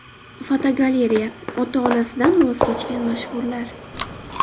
Fotogalereya: Ota-onasidan voz kechgan mashhurlar.